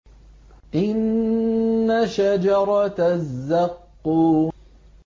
إِنَّ شَجَرَتَ الزَّقُّومِ